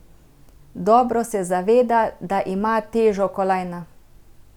Dobro se zaveda, da ima težo kolajna.